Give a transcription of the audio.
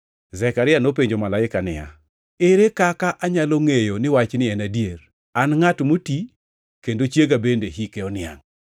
Zekaria nopenjo malaika niya, “Ere kaka anyalo ngʼeyo ni wachni en adier? An ngʼat moti kendo chiega bende hike oniangʼ.”